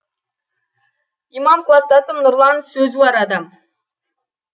имам кластасым нұрлан сөзуар адам